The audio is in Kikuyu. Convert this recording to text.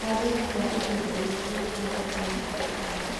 Athire kwa ihinda iraihu nĩguo akinye thibitarĩ.